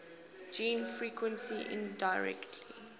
gene frequency indirectly